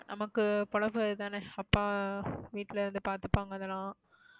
நமக்கு பொழப்பு இது தானே. அப்பா வீட்டுல இதை பாத்துப்பாங்க இதெல்லாம்.